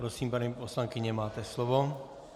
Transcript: Prosím, paní poslankyně, máte slovo.